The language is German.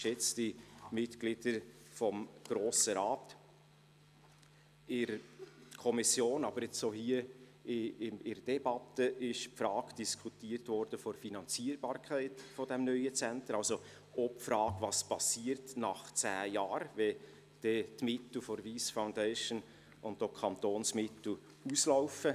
In der Kommission, aber jetzt auch hier in der Debatte wurde die Frage der Finanzierbarkeit dieses neuen Centers aufgeworfen und auch die Frage, was nach zehn Jahren geschieht, wenn die Mittel der Wyss Foundation und auch die Kantonsmittel auslaufen.